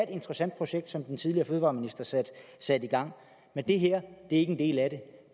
interessant projekt som den tidligere fødevareminister satte i gang men det her er ikke en del af det